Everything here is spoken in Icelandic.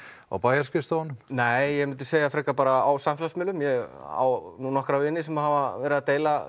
á bæjarskrifstofunni nei ég myndi segja frekar bara á samfélagsmiðlum ég á nokkra vini sem hafa verið að deila